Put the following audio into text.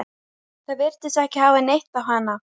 Það virtist ekki fá neitt á hana.